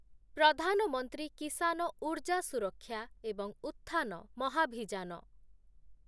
ପ୍ରଧାନ ମନ୍ତ୍ରୀ କିସାନ ଉର୍ଜା ସୁରକ୍ଷା ଏବଂ ଉତ୍ଥାନ ମହାଭିଯାନ